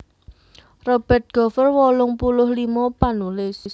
Robert Gover wolung puluh limo panulis